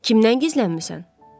Kimdən gizlənmisən?